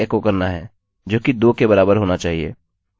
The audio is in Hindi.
ठीक है हमने सफलतापूर्वक अपने अरै को तोड़ दिया है